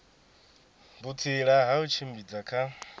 vhutsila ha u tshimbidza kha